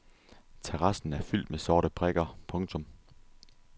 Terrassen er fyldt med sorte prikker. punktum